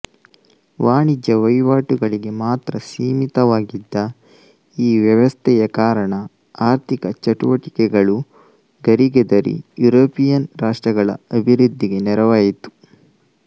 ವಾಣಿಜ್ಯ ವಹಿವಾಟುಗಳಿಗೆ ಮಾತ್ರ ಸೀಮಿತವಾಗಿದ್ದ ಈ ವ್ಯವಸ್ಥೆಯ ಕಾರಣ ಆರ್ಥಿಕ ಚಟುವಟಿಕೆಗಳು ಗರಿಗೆದರಿ ಯುರೋಪಿಯನ್ ರಾಷ್ಟ್ರಗಳ ಅಭಿವೃದ್ಧಿಗೆ ನೆರವಾಯಿತು